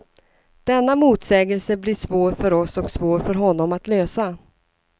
Denna motsägelse blir svår för oss och svår för honom att lösa.